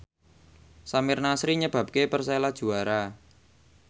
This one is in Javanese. Samir Nasri nyebabke Persela juara